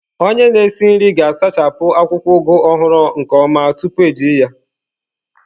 Onye na-esi nri ga-asachapụ akwụkwọ Ugu ọhụrụ nke ọma tupu eji ya.